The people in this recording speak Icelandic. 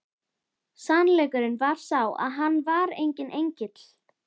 Sannleikurinn var sá að hann var enginn engill!